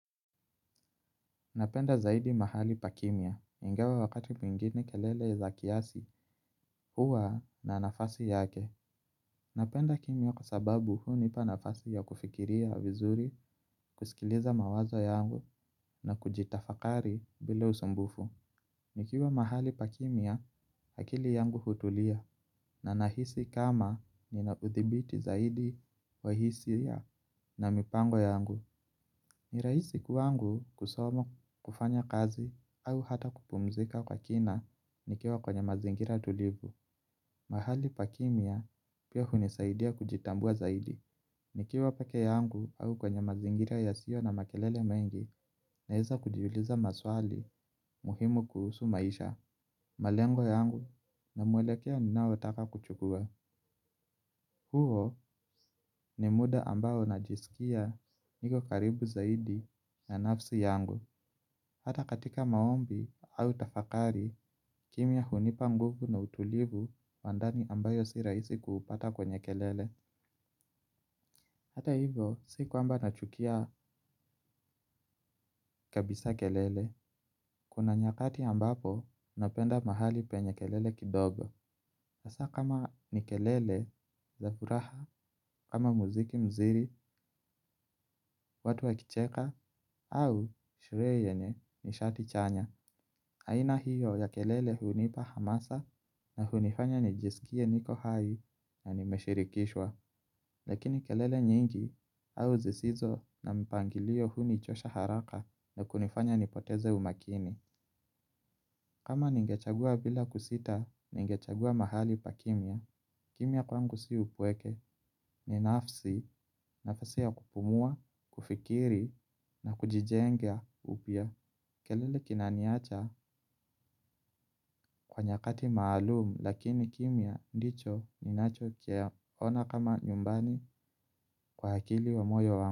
Napenda zaidi mahali pa kimya, ingawa wakati mingine kelele za kiasi huwa na nafasi yake. Napenda kimya kwa sababu hunipa nafasi ya kufikiria vizuri, kusikiliza mawazo yangu na kujitafakari bila usumbufu. Nikiwa mahali pa kimya, akili yangu hutulia na nahisi kama ninauthibiti zaidi wahisia na mipango yangu. Ni rahisi kwangu kusomo kufanya kazi au hata kupumzika kwa kina nikiwa kwenye mazingira tulivu. Mahali pa kimya pia hunisaidia kujitambua zaidi. Nikiwa peke yangu au kwenye mazingira yasio na makelele mengi na weza kujiuliza maswali muhimu kuhusu maisha. Malengo yangu na mwelekeo ninaotaka kuchukua. Huo ni muda ambao najisikia niko karibu zaidi na nafsi yangu. Hata katika maombi au tafakari, kimya hunipa nguvu na utulivu wa ndani ambayo si rahisi kuupata kwenye kelele. Hata hivo, sikwamba nachukia kabisa kelele. Kuna nyakati ambapo, napenda mahali penye kelele kidogo. Hasa kama ni kelele za furaha, kama muziki muziri, watu wakicheka, au sherehe yenye ni shati chanya. Aina hiyo ya kelele hunipa hamasa na hunifanya nijisikie niko hai na nimeshirikishwa. Lakini kelele nyingi au zisizo na mpangilio hunichosha haraka na kunifanya nipoteze umakini. Kama ningechagua bila kusita ningechagua mahali pa kimya. Kimya kwangu si upweke ni nafsi nafasi ya kupumua, kufikiri na kujijenga upya. Kelele kinaniacha kwa nyakati maalumu lakini kimya ndicho ninacho kiona kama nyumbani kwa akili wa moyo wangu.